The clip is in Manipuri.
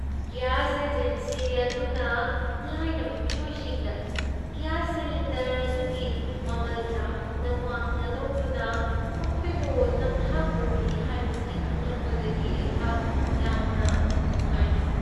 ꯒ꯭ꯌꯥꯁ ꯑꯦꯖꯦꯟꯁꯤ ꯑꯗꯨꯅ ꯂꯥꯏꯔꯕ ꯃꯤꯑꯣꯏꯁꯤꯡꯗ ꯒ꯭ꯌꯥꯁ ꯁꯤꯂꯤꯟꯗꯔ ꯑꯗꯨꯒꯤ ꯃꯃꯜ ꯌꯥꯝꯅ ꯋꯥꯡꯅ ꯂꯧꯗꯨꯅ ꯃꯈꯣꯏꯕꯨ ꯅꯝꯊꯥꯛ ꯇꯧꯕꯤ ꯍꯥꯏꯕꯁꯤ ꯈꯪꯂꯛꯄꯗꯒꯤ ꯑꯩꯍꯥꯛ ꯌꯥꯝꯅ ꯅꯨꯡꯉꯥꯏꯈꯤꯗꯦ ꯫